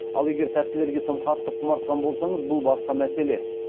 ал егер тәттілерге тым қатты құмартқан болсаңыз бұл басқа мәселе